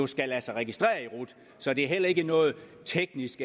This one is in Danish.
skal lade sig registrere i rut så det er heller ikke noget teknisk